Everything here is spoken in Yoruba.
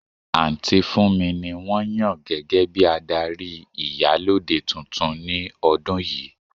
Aunty Funmi ni won yan gege bi adari Iyalode tuntun ni odun yii.